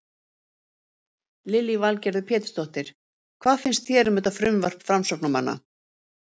Lillý Valgerður Pétursdóttir: Hvað finnst þér um þetta frumvarp framsóknarmanna?